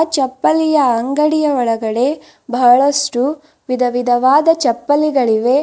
ಚಪ್ಪಲಿಯ ಅಂಗಡಿಯ ಒಳಗಡೆ ಬಹಳಷ್ಟು ವಿಧವಿಧವಾದ ಚಪ್ಪಲಿಗಳಿವೆ.